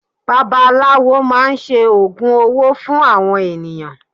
Bàbá aláwò máa ń ṣe Ògùn owó fún àwọn ènìyàn.